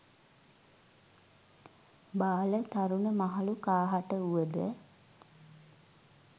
බාල, තරුණ, මහලු කාහට වූවද